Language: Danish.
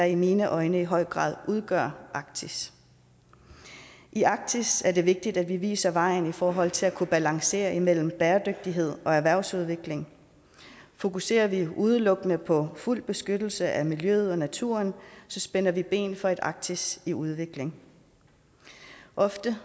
i mine øjne i høj grad udgør arktis i arktis er det vigtigt at vi viser vejen i forhold til at kunne balancere mellem bæredygtighed og erhvervsudvikling fokuserer vi udelukkende på fuld beskyttelse af miljøet og naturen spænder vi ben for et arktis i udvikling ofte